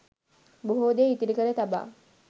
බොහෝ දේ ඉතිරි කර තබා